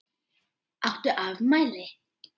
Áttu afmæli?